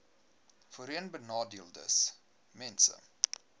voorheenbenadeeldesmense